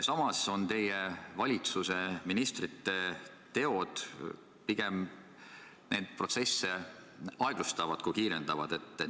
Samas on teie valitsuse ministrite teod neid protsesse pigem aeglustavad kui kiirendavad.